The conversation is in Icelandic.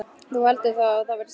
Þú heldur þá að það verði stelpa?